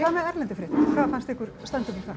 með erlendu fréttirnar hvað fannst ykkur standa upp úr þar